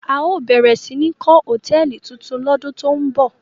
A óò bẹ̀rẹ̀ sí ní kọ́ hòtẹ́ẹ́lì tuntun lọ́dún tó ń bọ̀!